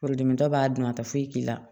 Furudimitɔ b'a dun a tɛ foyi k'i la